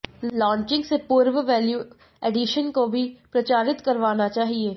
launching से पूर्व value addition को भी प्रचारित करवाना चाहिए